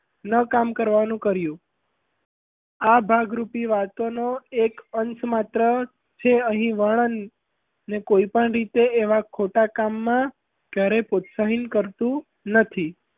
ન કામ કરવાનું કર્યું આ ભાગરૂપી વાતોનો એક અંશ માત્ર છે અહીં વર્ણન ને કોઈ પણ રીતે એવાં ખોટાં કામમાં ક્યારેય પ્રોત્સાહિન કરતું નથી.